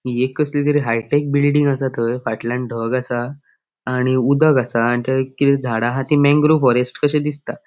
एक कसली तरी हाय टेक बिल्डिंग आसा थंय फाटल्यान ढग आसा आणि उदक आसा आणि थंय किते झाडा आहा ती मॅन्ग्रो फॉरेस्ट कशे दिसता.